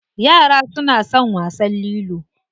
Yara suna son wasan lilo.